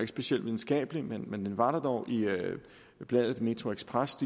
specielt videnskabelig men den var der dog i bladet metroxpress